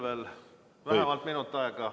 Teil on veel vähemalt minut aega.